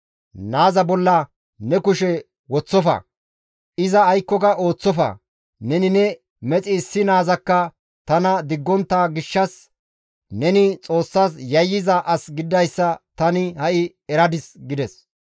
«Naaza bolla ne kushe woththofa; iza aykkoka ooththofa; neni ne mexi issi naazakka tana diggontta gishshas neni Xoossas yayyiza as gididayssa tani ha7i eradis» gides.